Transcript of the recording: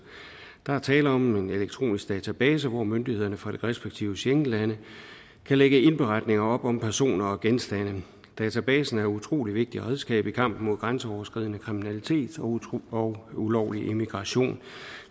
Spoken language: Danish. der er tale om nogle elektroniske databaser hvor myndighederne fra de respektive schengenlande kan lægge indberetninger op om personer og genstande databasen er et utrolig vigtigt redskab i kampen mod grænseoverskridende kriminalitet og ulovlig immigration